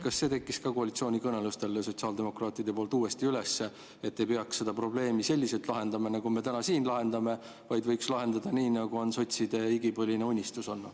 Kas sotsiaaldemokraadid võtsid koalitsioonikõnelustel ka selle teema uuesti üles, et ei peaks seda probleemi selliselt lahendama, nagu me täna siin lahendame, vaid võiks lahendada nii, nagu on olnud sotside igipõline unistus?